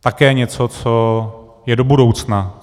Také něco, co je do budoucna.